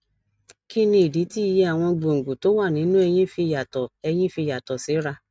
kí nìdí tí iye àwọn gbòǹgbò tó wà nínú eyín fi yàtò eyín fi yàtò síra